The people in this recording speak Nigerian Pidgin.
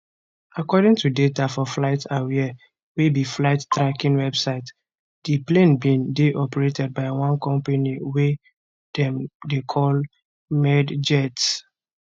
according to data for flight aware wey be flight tracking website di plane bin dey operated by one company wey dem dey call medjets